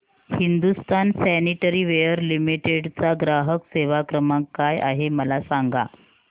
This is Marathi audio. हिंदुस्तान सॅनिटरीवेयर लिमिटेड चा ग्राहक सेवा क्रमांक काय आहे मला सांगा